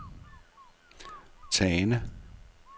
Tane